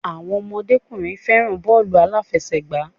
Àwọn ọmọdékùnrin fẹràn bọ́ọ̀lù aláfẹ̀sẹgbà.